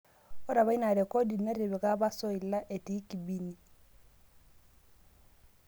Ore apa ina rekodi netipika apa Soila etii Kibini